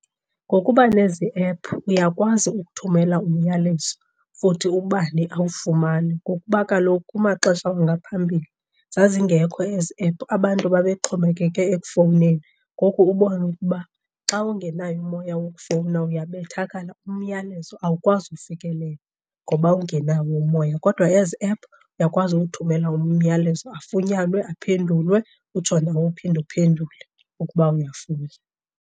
Ngokuba nezi ephu uyakwazi ukuthumela umyalezo futhi ubani awufumane, ngokuba kaloku kumaxesha wangaphambili zazingekho ezi ephu abantu babexhomekeke ekufowuneni. Ngoku ubone ukuba xa ungenaye umoya wokufowuna uyabethakala, umyalezo awukwazi ufikelela ngoba ungenawo umoya. Kodwa ezi ephu uyakwazi uwuthumela umyalezo, afunyenwe aphendulwe, utsho nawe uphinde uphendule ukuba uyafuna.